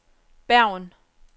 Bergen